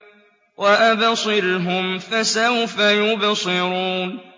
وَأَبْصِرْهُمْ فَسَوْفَ يُبْصِرُونَ